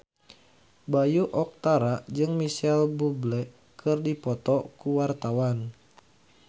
Bayu Octara jeung Micheal Bubble keur dipoto ku wartawan